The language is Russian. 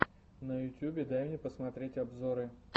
на ютюбе дай мне посмотреть обзоры